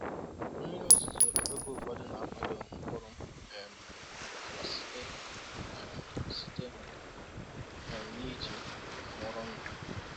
Mmiri ozuzo oge ụfọdụ na-akwado mkpụrụ um agwa site um site um n’iji anwụrụ ndụ.”